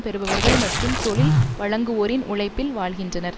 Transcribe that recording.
பெறுபவர்கள் மற்றும் தொழில் வழங்குவோரின் உழைப்பில் வாழ்கின்றனர்